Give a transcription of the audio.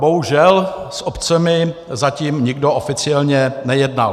Bohužel s obcemi zatím nikdo oficiálně nejednal.